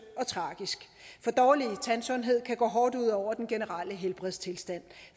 og tragisk for dårlig tandsundhed kan gå hårdt ud over den generelle helbredstilstand